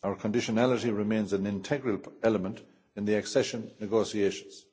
Our conditionality remains an integral element in the accession negotiations.